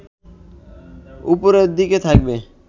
ওপরের দিকেই থাকবে